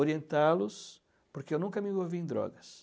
orientá-los, porque eu nunca me envolvi em drogas.